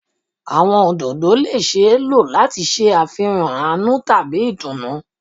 Awọn ododo le ṣee lo lati ṣe afihan aanu tabi itunu